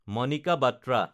Manika Batra